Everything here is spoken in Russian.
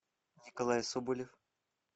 николай соболев